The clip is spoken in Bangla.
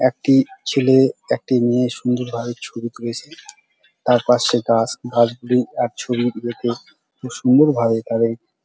একটি ছেলে একটি মেয়ে সুন্দর ভাবে ছবি তুলেছে তার পাশে গাছ গাছগুলি আর ছবিগুলোকে খুব সুন্দর ভাবে তাদের--